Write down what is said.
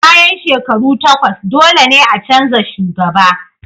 Bayan shekaru takwas, dole ne a canza shugaba.